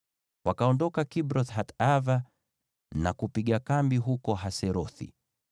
Wakaondoka Kibroth-Hataava na kupiga kambi huko Haserothi.